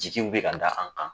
Jigiw bɛ ka da an kan